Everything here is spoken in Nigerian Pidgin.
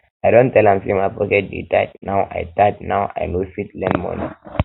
i don tell am sey my pocket dey tight now i tight now i no fit lend moni